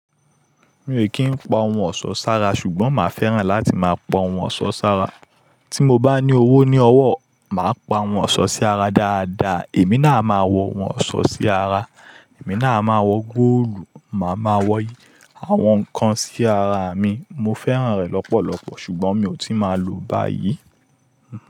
Mi ò kí ń pa ohun ọ̀ṣọ́ sára ṣùgbọ́n màá fẹ́ràn láti máa pa ohun ọ̀ṣọ́ sára. Tí mo bá ní owó ní ọwọ́, màá pa àwọn ọ̀ṣọ́ sí ara dáadáa, èmi náà á máa wọ ohun ọ̀ṣọ́ sí ara, èmi náà á máa wọ góòlù, màá ma wọ àwọn nǹkan sí ara mi. Mo fẹ́ràn rẹ̀ lọ́pọ̀lọpọ̀ ṣùgbọ́n mi ò tí ì máa lòó báyìí.